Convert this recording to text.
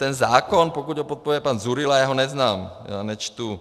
Ten zákon, pokud ho podporuje pan Dzurilla, já ho neznám, já nečtu